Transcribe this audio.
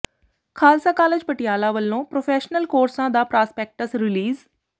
Khalsa college Patiala ਵੱਲੋਂ professional ਕੋਰਸਾਂ ਦਾ ਪ੍ਰਾਸਪੈਕਟਸ ਰਿਲੀਜ਼